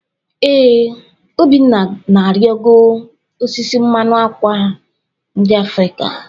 Ee, Obinna na-arịgo osisi mmanụ ákwà ndị Afrịka.